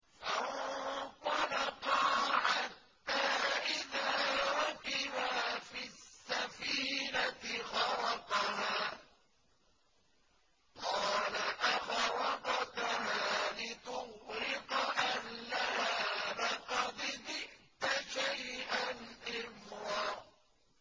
فَانطَلَقَا حَتَّىٰ إِذَا رَكِبَا فِي السَّفِينَةِ خَرَقَهَا ۖ قَالَ أَخَرَقْتَهَا لِتُغْرِقَ أَهْلَهَا لَقَدْ جِئْتَ شَيْئًا إِمْرًا